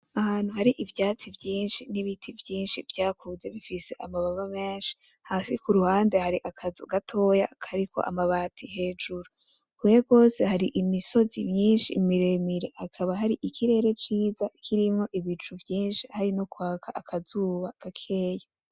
Ahantu hari ivyatsi vyinshi n’ibiti vyinshi vyakuze bifise amababa menshi hasi kuruhande hari akazu gatoya kariko amabati hejuru. Kure gwose hari imisozi myinshi miremire hakaba hari ikirere ciza kirimwo ibicu vyinshi hari nokwaka akazuba gakeya.